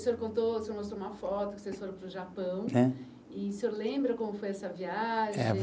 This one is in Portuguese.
O senhor contou, o senhor mostrou uma foto que vocês foram para o Japão. É. E o senhor lembra como foi essa viagem?